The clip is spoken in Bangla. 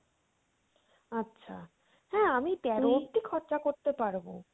আচ্ছা। হ্যাঁ আমি তেরো অব্দি খরচা করতে পারবো।